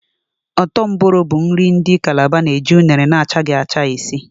Ọ́tọ́ Mboro bụ nri ndị Kalaba na-eji unere na-achaghị acha esi